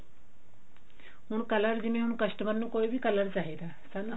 ਹੁਣ color ਜਿਵੇਂ ਹੁਣ customer ਨੂੰ ਕੋਈ ਵੀ color ਚਾਹੀਦਾ ਹਨਾ